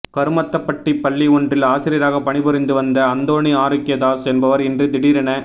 கருமத்தப்பட்டி பள்ளி ஒன்றில் ஆசிரியராக பணிபுரிந்து வந்த அந்தோணி ஆரோக்கியதாஸ் என்பவர் இன்று திடீரென